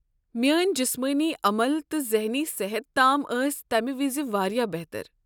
میٲنۍ جسمٲنی عمل تہٕ ذہنی صحت تام ٲسۍ تمہ وز واریاہ بہتر۔